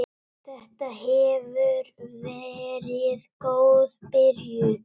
Þetta hefur verið góð byrjun.